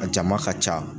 A jama ka ca